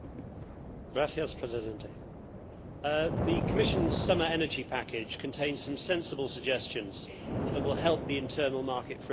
Mr President, the Commission's summer Energy Package contains some sensible suggestions that will help the internal market for energy.